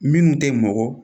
Minnu tɛ mɔgɔ